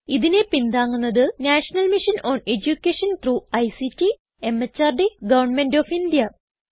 ഇതിനെ പിന്താങ്ങുന്നത് national mission on education through ICT MHRD government of India